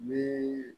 Ni